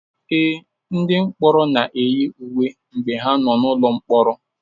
Ee, ndị mkpọrọ na-eyi uwe mgbe ha nọ n'ụlọ mkpọrọ.